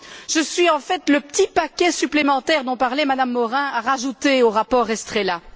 Je suis en fait le petit paquet supplémentaire dont parlait Mme Morin à rajouter au rapport Estrela.